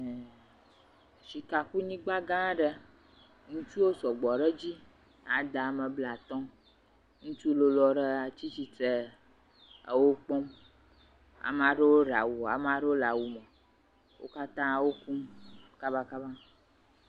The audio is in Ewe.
Sukakunyigba gã aɖe. Ŋutsuwo sɔgbɔ ɖe edzi ade ame blatɔ. Ŋutsu lolo aɖe hã tsi tsitre ɖe ewo kpɔm ame aɖewo ɖe awu, ame aɖewo le awu me. Wo katã wokum kabakaba.